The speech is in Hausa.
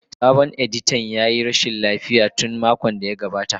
Sabon editan ya yi rashin lafiya tun makon da ya gabata.